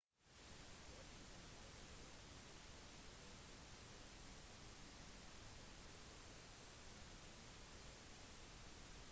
høringen markerer også datoen for rettigheten til den mistenkte til å ha en rask rettssak